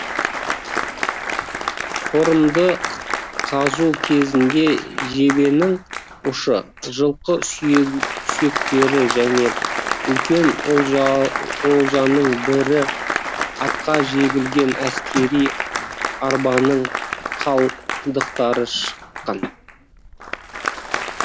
қорымды қазу кезінде жебенің ұшы жылқы сүйектері және үлкен олжаның бірі атқа жегілген әскери арбаның қалдықтары шыққан